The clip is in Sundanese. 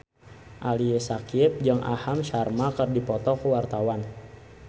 Ali Syakieb jeung Aham Sharma keur dipoto ku wartawan